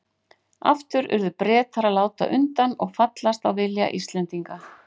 Aftur urðu Bretar að láta undan og fallast á vilja Íslendinga.